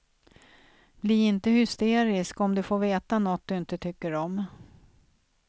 Bli inte hysterisk om du får veta något du inte tycker om.